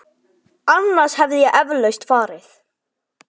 Annars hefði ég eflaust farið.